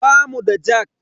Bamu da jak.